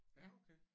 Ja okay